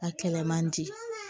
A kɛlɛ man di